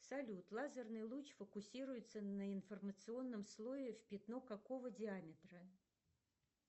салют лазерный луч фокусируется на информационном слое в пятно какого диаметра